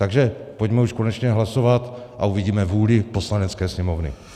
Takže pojďme už konečně hlasovat a uvidíme vůli Poslanecké sněmovny.